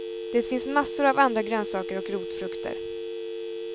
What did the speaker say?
Det finns massor av andra grönsaker och rotfrukter.